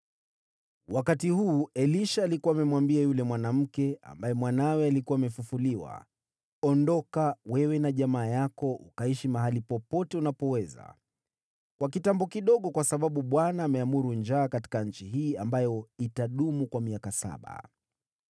Wakati huu, Elisha alikuwa amemwambia yule mwanamke ambaye mwanawe alikuwa amefufuliwa, “Ondoka wewe na jamaa yako ukaishi mahali popote unapoweza kwa kitambo kidogo, kwa sababu Bwana ameamuru njaa katika nchi hii ambayo itadumu kwa miaka saba.”